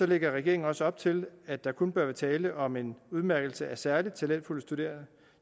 lægger regeringen også op til at der kun bør være tale om en udmærkelse af særlig talentfulde studerende